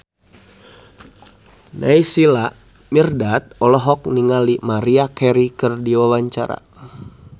Naysila Mirdad olohok ningali Maria Carey keur diwawancara